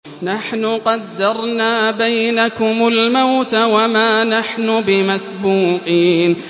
نَحْنُ قَدَّرْنَا بَيْنَكُمُ الْمَوْتَ وَمَا نَحْنُ بِمَسْبُوقِينَ